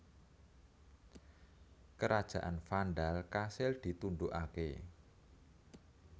Kerajaan Vandal kasil ditundhukaké